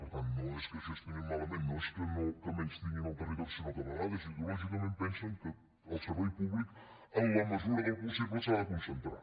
per tant no és que gestionin malament no és que menystinguin el territori sinó que a vegades ideològicament pensen que el servei públic en la mesura del possible s’ha de concentrar